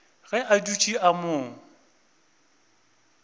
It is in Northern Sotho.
ge a dutše a mo